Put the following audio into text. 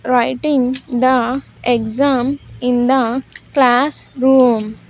writing the exam in the classroom.